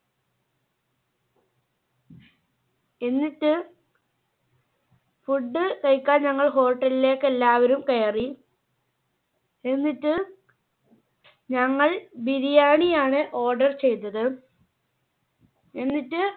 എന്നിട്ട് Food കഴിക്കാൻ ഞങ്ങൾ Hotel ലേക്ക് എല്ലാവരും കയറി. എന്നിട്ട് ഞങ്ങൾ ബിരിയാണി ആണ് order ചെയ്തത്. എന്നിട്ട്